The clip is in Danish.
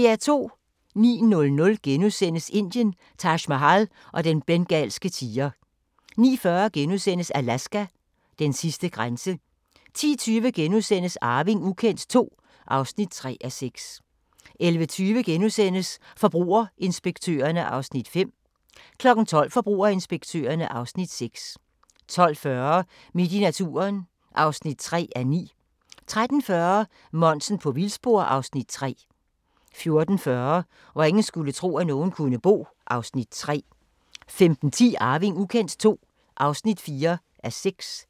09:00: Indien – Taj Mahal og den bengalske tiger * 09:40: Alaska: Den sidste grænse * 10:20: Arving ukendt II (3:6)* 11:20: Forbrugerinspektørerne (Afs. 5)* 12:00: Forbrugerinspektørerne (Afs. 6) 12:40: Midt i naturen (3:9) 13:40: Monsen på vildspor (Afs. 3) 14:40: Hvor ingen skulle tro, at nogen kunne bo (Afs. 3) 15:10: Arving ukendt II (4:6)